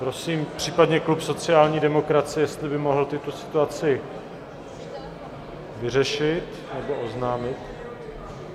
Prosím případně klub sociální demokracie, jestli by mohl tuto situaci vyřešit nebo oznámit...